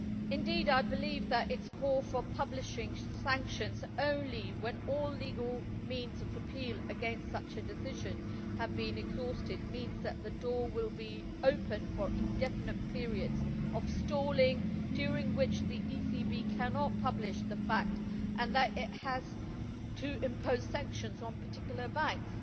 Indeed, I believe that the call for publishing sanctions only when all legal means of appeal against such a decision have been exhausted means that the door will be open for indefinite periods of stalling, during which the ECB cannot publish the fact that it has to impose sanctions on particular banks.